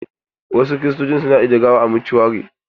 Wasu Kiristoci su na ajiye gawa a motuari.